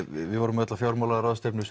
við vorum öll á fjármálaráðstefnu